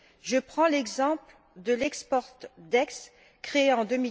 Je prends l'exemple de l' Export Desk créé en